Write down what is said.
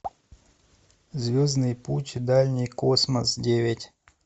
звездный путь дальний космос девять